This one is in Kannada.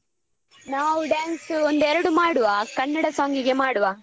ನಾವು dance ಒಂದ್ ಎರಡು ಮಾಡುವ ಕನ್ನಡ song ಗೆ ಮಾಡುವ.